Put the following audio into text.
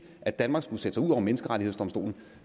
at danmark skulle sætte over menneskerettighedsdomstolen